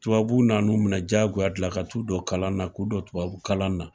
Tubabuw na n'u minɛ jagoya de la ka t'u don tubabu kalan na, k'u don tubabu kalan na.